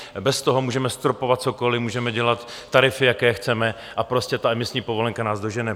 Bez toho můžeme stropovat cokoliv, můžeme dělat tarify, jaké chceme, a prostě ta emisní povolenka nás dožene.